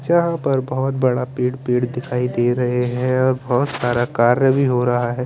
यहा पर बहुत बड़ा पेड़ पेड़ दिखाई दे रहे है और बोहोत सारा कार्य भी हो रहा है ।